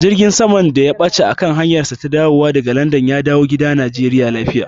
Jirgin saman da ya ɓace a kan hanyarsa ta dawowa daga Landan ya dawo gida Najeriya lafiya.